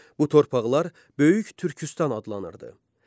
Bu torpaqlar Böyük Türkistan adlanırdı.